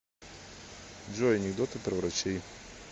джой анекдоты про врачей